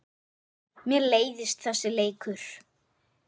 Mér leiðist þessi leikur.